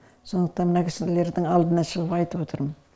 сондықтан мына кісілердің алдына шығып айтып отырмын